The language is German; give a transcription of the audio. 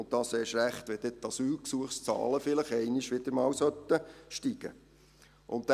Dies gilt erst recht, wenn die Asylgesuchszahlen vielleicht wieder einmal steigen sollten.